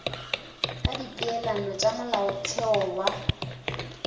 ka dipeelano tša molaotheo wa